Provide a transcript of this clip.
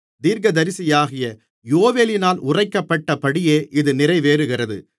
தீர்க்கதரிசியாகிய யோவேலினால் உரைக்கப்பட்டபடியே இது நிறைவேறுகிறது